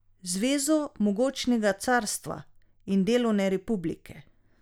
Zvezo mogočnega carstva in delovne republike ...